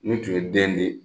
N'i tun ye den di